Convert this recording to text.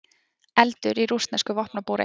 Eldur í rússnesku vopnabúri